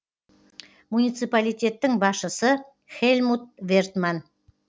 муниципалитеттің басшысы хельмут вертман